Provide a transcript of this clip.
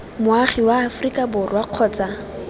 moagi wa aforika borwa kgotsa